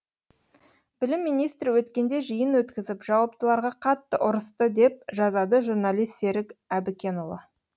білім министрі өткенде жиын өткізіп жауаптыларға қатты ұрысты деп жазады журналист серік әбікенұлы